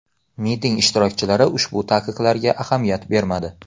Miting ishtirokchilari ushbu taqiqlarga ahamiyat bermadi.